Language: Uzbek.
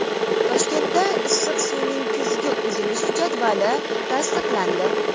Toshkentda issiq suvning kuzgi uzilishi jadvali tasdiqlandi.